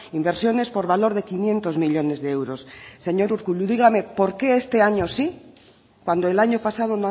inversiones por valor de quinientos millónes de euros señor urkullu dígame por qué este año sí cuando el año pasado